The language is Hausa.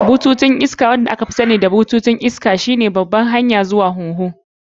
Bututun iska, wanda aka fi sani da bututun iska, shine babban hanyar iska zuwa huhu.